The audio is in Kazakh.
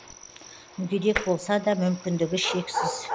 мүгедек болса да мүмкіндігі шексіз